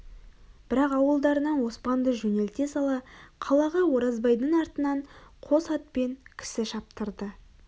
бірақ ауылдарынан оспанды жөнелте сала қалаға оразбайдың артынан қос атпен кісі шаптырды